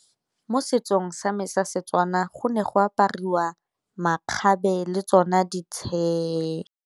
Mo setsong sa me sa Setswana go ne go apariwa makgabe le tsona di .